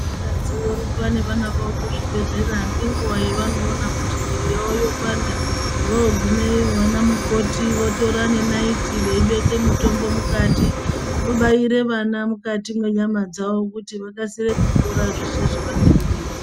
Vakadzi vorumba nevana vavo kuzvibhedhlera ngenguwa yavanoona kuti mwiri yavo yopanda vogumeyo vanamukoti votora nenayiti veibeke mutombo mukati vobaire vana mukati mwenyama dzavo kuti vakasire kupora zveshe zvavanenge veizwa.